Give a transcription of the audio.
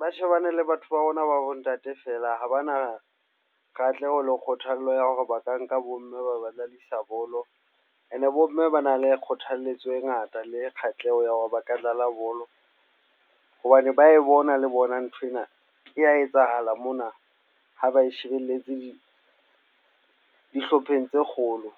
ba shebane le batho ba bona, ba bo ntate fela. Ha bana katleho, le kgothallo ya hore ba ka nka bo mme ba ba dladisa bolo and-e bo mme ba na le kgothalletswe e ngata le kgatlheho ya hore ba ka dlala bolo hobane ba e bona le bona nthwena e ya etsahala mona ha ba e shebelletse dihlopheng tse kgolo.